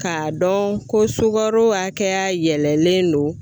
K'a dɔn ko sugaro akɛya yɛlɛlen don